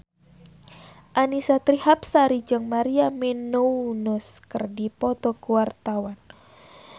Annisa Trihapsari jeung Maria Menounos keur dipoto ku wartawan